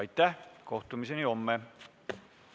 Istungi lõpp kell 11.56.